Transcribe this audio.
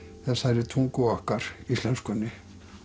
þessari tungu okkar íslenskunni